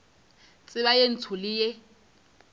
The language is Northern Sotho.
tseba ye ntsho le ye